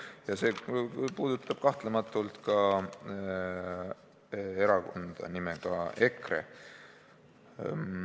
Ja see puudutab kahtlemata ka erakonda nimega EKRE.